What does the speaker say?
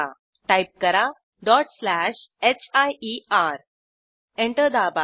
type करा hier enter दाबा